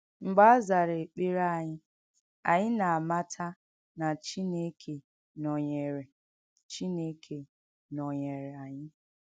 M̀gbè a zàrà èkpèrè ányị, ányị nà-àmàtà nà Chínékè nọ̀nyèrè Chínékè nọ̀nyèrè ányị.